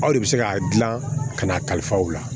Aw de bɛ se k'a dilan ka n'a kalifa u la